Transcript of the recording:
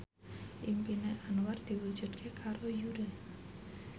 impine Anwar diwujudke karo Yura